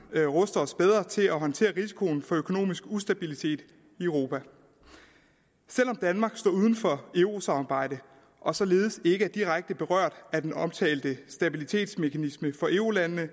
ruster os bedre til at håndtere risikoen for økonomisk ustabilitet i europa selv om danmark står uden for eurosamarbejdet og således ikke er direkte berørt af den omtalte stabilitetsmekanisme for eu landene